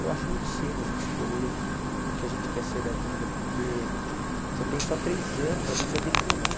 Eu acho muito cedo a gente escolher o que a gente quer ser da vida, porque você tem só três anos ali para definir.